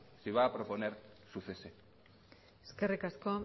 si va a proponer su cese eskerrik asko